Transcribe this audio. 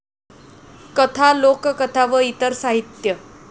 कथा, लोककथा व इतर साहित्य